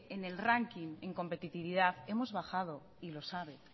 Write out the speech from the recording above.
en el ranking en competitividad hemos bajado y lo sabe